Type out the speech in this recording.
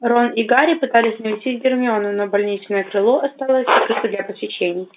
рон и гарри пытались навестить гермиону но больничное крыло осталось закрыто для посещений